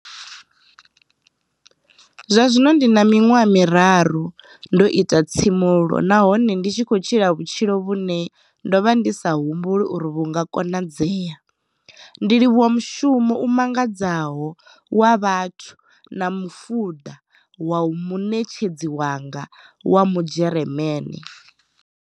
Zwa zwino ndi na miṅwaha miraru ndo ita tsimulo nahone ndi khou tshila vhutshilo vhune ndo vha ndi sa humbuli uri vhu nga konadzea, ndi livhuwa mushumo u mangadzaho wa vhuthu na mafunda wa muṋetshedzi wanga wa mudzheremane.